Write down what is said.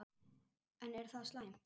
En er það slæmt?